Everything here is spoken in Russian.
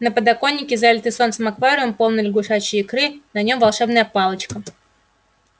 на подоконнике залитый солнцем аквариум полный лягушачьей икры на нём волшебная палочка